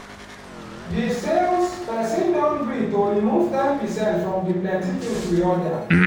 di sales person don gree to remove ten percent from the plenty things we order